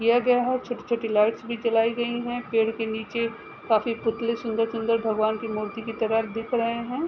किया गया है। छोटी छोटी लाइट्स भी जलाई गयी हैं। पेड़ के नीचे काफी पुतलें सुन्दर सुन्दर भगवान की मूर्ति की तरह दिख रहे हैं।